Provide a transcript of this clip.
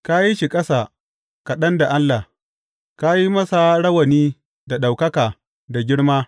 Ka yi shi ƙasa kaɗan da Allah ka yi masa rawani da ɗaukaka da girma.